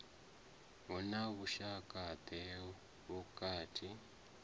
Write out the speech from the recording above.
hu na vhushaka ḓe vhukati